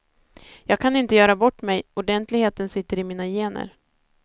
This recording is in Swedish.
Jag kan inte göra bort mig, ordentligheten sitter i mina gener.